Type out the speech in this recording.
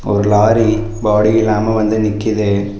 ஒரு lorry body இல்லாம வந்து நிக்குது.